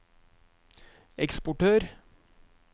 eksportør